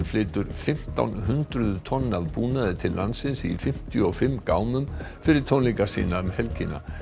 flytur fimmtán hundruð tonn af búnaði til landsins í fimmtíu og fimm gámum fyrir tónleika sína um helgina